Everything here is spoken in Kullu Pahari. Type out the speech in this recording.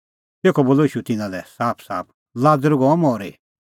तेखअ बोलअ ईशू तिन्नां लै साफसाफ लाज़र गअ मरी